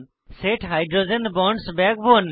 set hydrogen bonds in the backbone